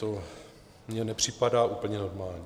To mně nepřipadá úplně normální.